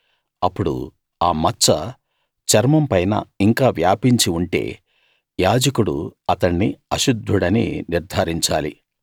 అప్పుడు ఆ మచ్చ చర్మం పైన ఇంకా వ్యాపించి ఉంటే యాజకుడు అతణ్ణి అశుద్ధుడని నిర్థారించాలి